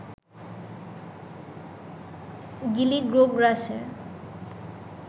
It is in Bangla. গিলি, গোগ্রাসে